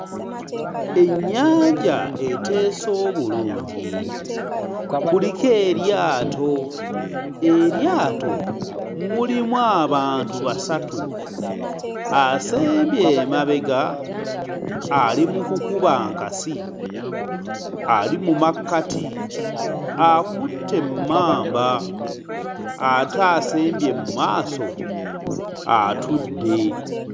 Ennyanja eteese obulungi kuliko eryato, eryato mulimu abantu basatu asembye emabega ali mu kukuba nkasi ali mu makkati akutte emmamba ate asembye mu maaso atudde.